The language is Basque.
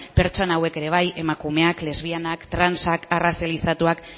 pertsona hauek ere bai emakumeak lesbianak transak arrazalizatuak